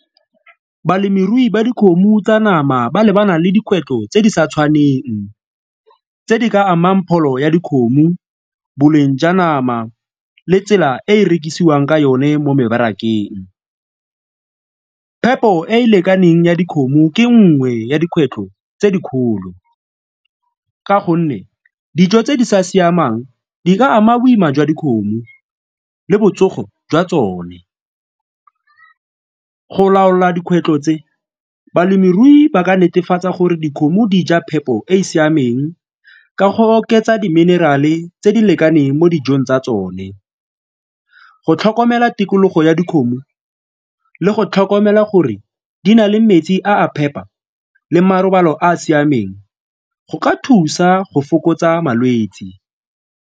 Balemirui ba dikgomo tsa nama ba lebana le dikgwetlho tse di sa tshwaneng, tse di ka amang pholo ya dikgomo, boleng jwa nama le tsela e e rekisiwang ka yone mo mebarakeng. Phepo e e lekaneng ya dikgomo ke nngwe ya dikgwetlho tse dikgolo ka gonne dijo tse di sa siamang di ka ama boima jwa dikgomo le botsogo jwa tsone. Go laola dikgwetlho tse, balemirui ba ka netefatsa gore dikgomo di ja phepo e e siameng ka go oketsa di-mineral-e tse di lekaneng mo dijong tsa tsone, go tlhokomela tikologo ya dikgomo le go tlhokomela gore di na le metsi a phepa le marobalo a a siameng go ka thusa go fokotsa malwetse.